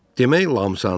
Demək Lamsan.